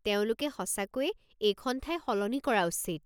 তেওঁলোকে সঁচাকৈয়ে এইখন ঠাই সলনি কৰা উচিত।